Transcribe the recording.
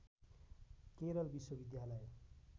केरल विश्वविद्यालय